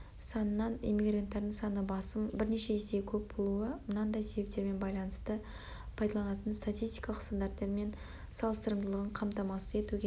санынан эммигранттардың саны басым бірнеше есеге көп болуы мынандай себептермен байланысты пайдаланылатын статистикалық стандарттармен салыстырымдылығын қамтамасыз етуге